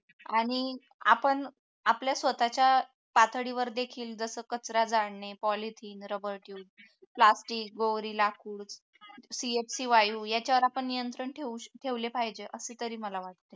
आणि आपण आपल्या स्वतःच्या पातळीवर देखील जसं कचरा जाळणे polythene rabar tube plastic गौरी लाकूड याच्यावर आपण नियंत्रण ठेवले पाहिजे असे तरी मला वाटते